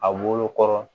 A wo kɔrɔ